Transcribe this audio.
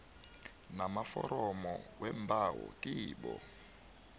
namaforomo weembawo kibo